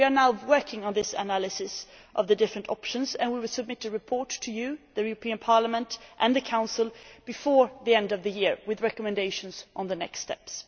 We are now working on this analysis of the different options, and we will submit a report to you the European Parliament and the Council, before the end of the year, with recommendations on the next steps.